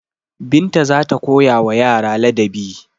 Binta za ta koyawa yara ladabi.